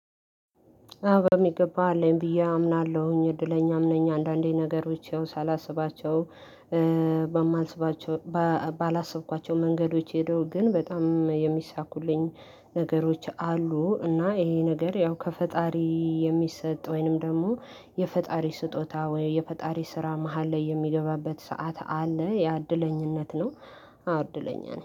አዋ በሚገባ አለኝ ብዬ አምናለሁኝ እድለኛም ነኝ አንዳንዴ ነገሮች ያው ሳላስባቸው በማልስባቸው ባላሰብኳቸው መንገዶች ሄደው ግን በጣም የሚሳኩልኝ ነገሮች አሉ። እና ይሄ ነገር ያው ከፈጣሪ የሚሰጥ ወይንም ደግሞ የፈጣሪ ስጦታ ወይ የፈጣሪ ስራ መሃል ላይ የሚገባበት ሰዓት አለ ያእድለኝነት ነው። አዋ እድለኛ ነው